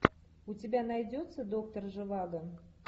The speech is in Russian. у тебя найдется доктор живаго